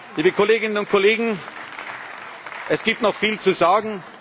zurück. Liebe Kolleginnen und Kollegen, es gibt noch viel